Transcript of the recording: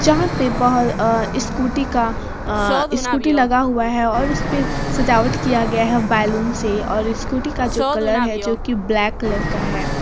जहाँ पे बहुत अ-स्कूटी का अ-स्कूटी लगा हुआ है और उसपे सजावट किया गया है बैलून से और स्कूटी का जो कलर है जो कि ब्लैक कलर का है।